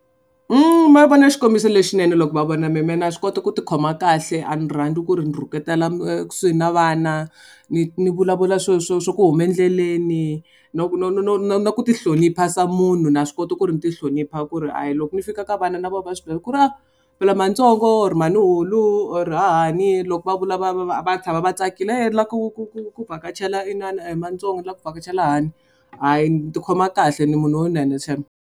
Ma vona xikombiso lexinene loko va vona me me na swi kota ku tikhoma kahle a ni rhandzi ku ri ni rhuketela ekusuhi na vana ni ni vulavula swo swo swa ku hume endleleni na ku no no no no na ku tihlonipa se munhu na swi kota ku ri ni ti hlonipha ku ri a hi loko ni fika ka vana na vona va swi tiva ku ri a mhani ntsongo or mhani hulu ku or hahani loko va vula va va va va tshama va tsakile ku ku ku ku vhakachela inana mhani tsongo ni lava ku vhakachela hahani hayi ni tikhoma kahle ni munhu shame.